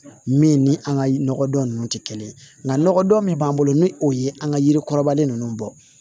Min ni an ka nɔgɔdɔn ninnu tɛ kelen ye nka nɔgɔdɔn min b'an bolo ni o ye an ka yiri kɔrɔbalen ninnu bɔ